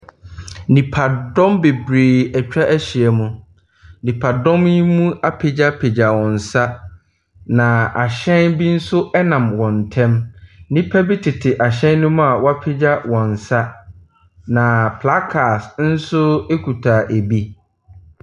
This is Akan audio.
Nipadɔm bebree atwahyia mu. Nnipadɔm yi mu apegyapegya wɔn nsa. Na ahyɛn bi nso ɛnam wɔn ntɛm. Nnipa bi tete ahyɛn no mu a wɔapegya wɔn nsa. Na placards nso ekuta ebi.